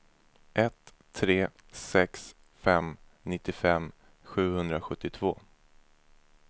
ett tre sex fem nittiofem sjuhundrasjuttiotvå